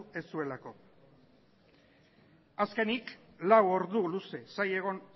ez zuelako azkenik lau ordu luze zain egon